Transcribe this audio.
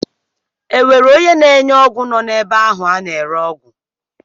E nwere onye na-enye ọgwụ nọ n'ebe ahụ a na-ere ọgwụ?